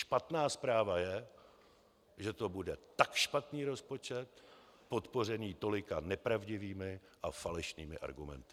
Špatná zpráva je, že to bude tak špatný rozpočet podpořený tolika nepravdivými a falešnými argumenty.